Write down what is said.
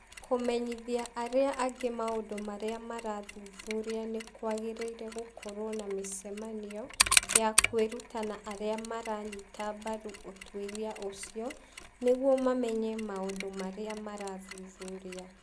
Kũmenyithia arĩa angĩ maũndũ marĩa marathuthuria nĩ kwagĩrĩire gũkorũo na mĩcemanio ya kwĩruta na arĩa maranyita mbaru ũtuĩria ũcio nĩguo mamenye maũndũ marĩa marathuthuria